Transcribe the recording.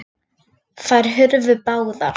Þær hurfu báðar.